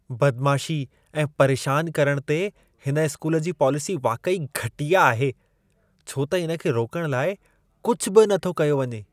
बदमाशी ऐं परेशान करण ते हिन स्कूल जी पॉलिसी वाक़ई घटिया आहे, छो त इन खे रोकण लाइ कुझु बि नथो कयो वञे।